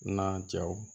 N'a jaw